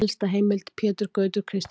Helsta heimild: Pétur Gautur Kristjánsson.